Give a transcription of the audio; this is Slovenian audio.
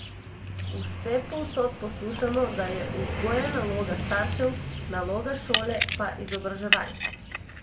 Vsepovsod poslušamo, da je vzgoja naloga staršev, naloga šole pa izobraževanje.